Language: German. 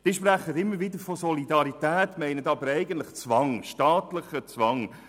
Sie sprechen immer wieder von Solidarität, meinen aber eigentlich staatlichen Zwang.